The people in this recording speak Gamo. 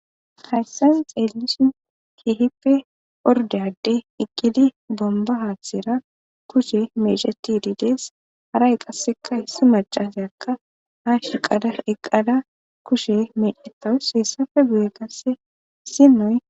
hayssan xeellishin keehippe ordeyade iqqidi bomba haasera kushe meheti diidees haray qasseka hissi macase akka ha shiqala eqqala kushe meedhettawus heessafe guye gasse sinoy